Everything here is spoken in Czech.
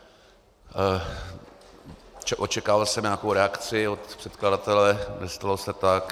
Očekával jsem nějakou reakci od předkladatele, nestalo se tak.